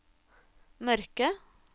mørke